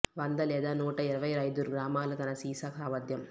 వంద లేదా నూట ఇరవై ఐదు గ్రాముల తన సీసా సామర్ధ్యం